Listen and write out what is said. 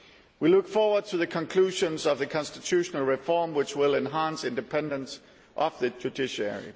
We look forward to the conclusions of the constitutional reform which will enhance independence of the judiciary.